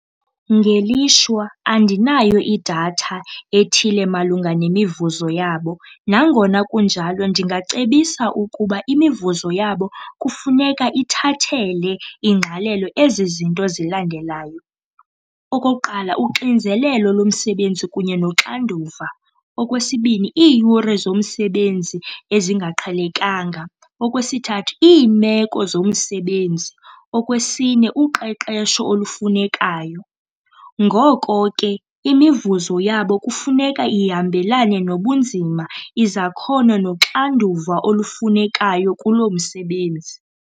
Ngelishwa andinayo idatha ethile malunga nemivuzo yabo, nangona kunjalo ndingacebisa ukuba imivuzo yabo kufuneka ithathele ingqalelo ezi zinto zilandelayo. Okokuqala, uxinzelelo lomsebenzi kunye noxanduva. Okwesibini, iiyure zomsebenzi ezingaqhelekanga. Okwesithathu, iimeko zomsebenzi. Okwesine, uqeqesho olufunekayo. Ngoko ke imivuzo yabo kufuneka ihambelana nobunzima, izakhono, noxanduva olufunekayo kulo msebenzi.